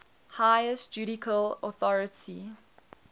highest judicial authority